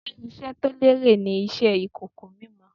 Ṣé iṣẹ́ to lérè ni Iṣẹ́ ìkòkò mímọ?